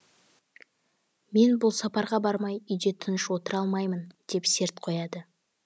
мен бұл сапарға бармай үйде тыныш отыра алмаймын деп серт қояды